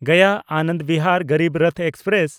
Gaya Anand Bihar Garib Rath express